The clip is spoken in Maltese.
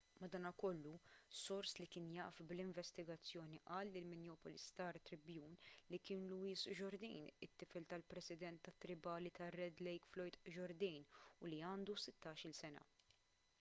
madankollu sors li kien jaf bl-investigazzjoni qal lill-minneapolis star-tribune li kien louis jourdain it-tifel tal-president tat-tribali tar-red lake floyd jourdain u li għandu sittax-il sena